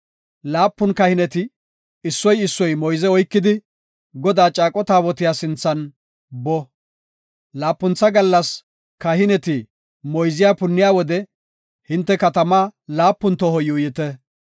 Laapun kahineti issoy issoy moyze oykidi, Godaa caaqo taabotiya sinthan boo. Laapuntha gallas kahineti moyze punniya wode hinte katamaa laapun toho yuuyite.